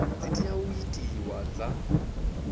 dzi tea u itiwa dza